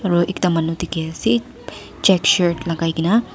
aro ekta manu dikhiase check shirt lakaikaena.